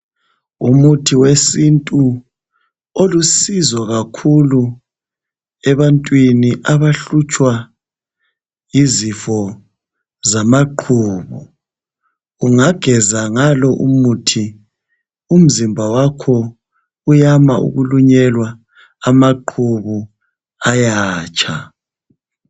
Umuthi wesintu olusizo kakhulu ebantwini abahlutshwa yizifo zamaqhubu. Ungageza ngalo umuthi umzimba wakho uyama ukulunyelwa amaqhubu ayatsha.